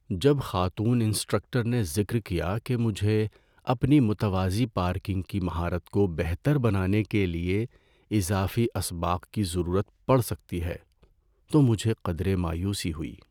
جب خاتون انسٹرکٹر نے ذکر کیا کہ مجھے اپنی متوازی پارکنگ کی مہارت کو بہتر بنانے کے لیے اضافی اسباق کی ضرورت پڑ سکتی ہے تو مجھے قدرے مایوسی ہوئی۔